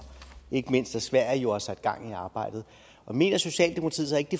ikke mindst sverige har jo sat gang i arbejdet mener socialdemokratiet så ikke